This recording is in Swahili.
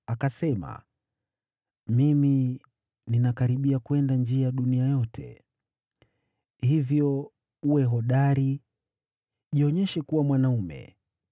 Akasema, “Mimi ninakaribia kwenda njia ya dunia yote. Hivyo uwe hodari, jionyeshe kuwa mwanaume,